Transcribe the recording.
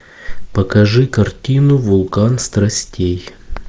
покажи картину вулкан страстей